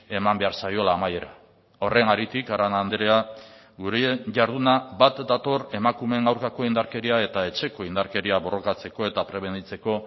eman behar zaiola amaiera horren haritik arana andrea gure jarduna bat dator emakumeen aurkako indarkeria eta etxeko indarkeria borrokatzeko eta prebenitzeko